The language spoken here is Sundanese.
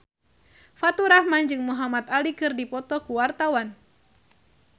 Faturrahman jeung Muhamad Ali keur dipoto ku wartawan